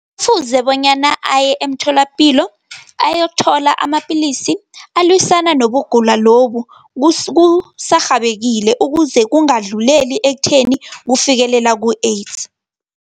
Kufuze bonyana aye emtholapilo, ayokuthola amapillisi, alwisana nobugula lobu, kusarhabekile ukuze kungadluleli ekutheni kufikelela ku-AIDS.